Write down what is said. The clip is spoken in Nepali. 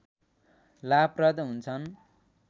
लाभप्रद हुन्छन्